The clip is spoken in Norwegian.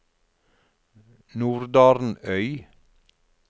Nordarnøy